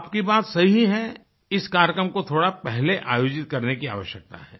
आपकी बात सही है इस कार्यक्रम को थोड़ा पहले आयोजित करने की आवश्यकता है